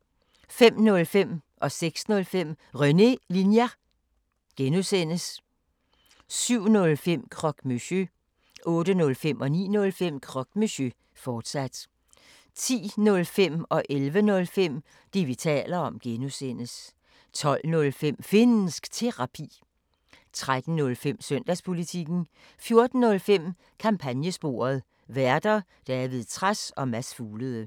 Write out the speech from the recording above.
05:05: René Linjer (G) 06:05: René Linjer (G) 07:05: Croque Monsieur 08:05: Croque Monsieur, fortsat 09:05: Croque Monsieur, fortsat 10:05: Det, vi taler om (G) 11:05: Det, vi taler om (G) 12:05: Finnsk Terapi 13:05: Søndagspolitikken 14:05: Kampagnesporet: Værter: David Trads og Mads Fuglede